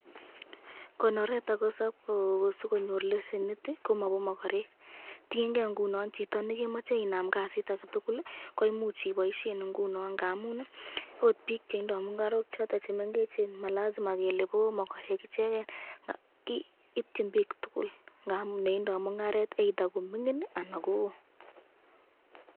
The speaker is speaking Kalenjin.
Konoretab ako cooperative komache sikonyor lisenit komabo makarek, tienke inguno chito nikemache inam kasit aketukuli koimuch iboisyen ngamun ,ot bik chetindoi mungarok choton chemengechen malazima kele bo makorek icheken, ityin bik tukul.